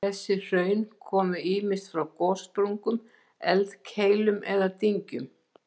Þessi hraun komu ýmist frá gossprungum, eldkeilum eða dyngjum.